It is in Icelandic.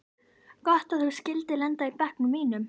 Gott að þú skyldir lenda í bekknum mínum.